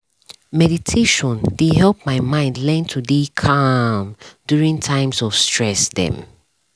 meditation dey help my mind learn to dey calm during times of stress drm